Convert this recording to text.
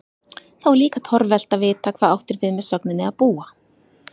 Þá er líka torvelt að vita hvað átt er við með sögninni að búa?